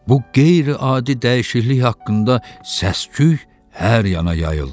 Bu qeyri-adi dəyişiklik haqqında səs-küy hər yana yayıldı.